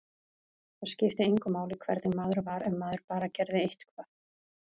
Það skipti engu máli hvernig maður var, ef maður bara gerði eitthvað.